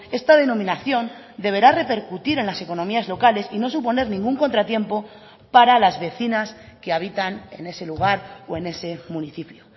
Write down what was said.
esta denominación deberá repercutir en las economías locales y no suponer ningún contratiempo para las vecinas que habitan en ese lugar o en ese municipio